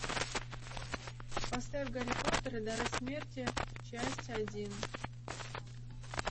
поставь гарри поттер и дары смерти часть один